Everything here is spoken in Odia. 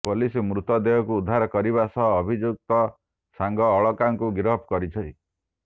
ପୋଲିସ ମୃତ ଦେହକୁ ଉଦ୍ଧାର କରିବା ସହ ଅଭିଯୁକ୍ତ ସାଙ୍ଗ ଅଳକାଙ୍କୁ ଗିରଫ କରିଛି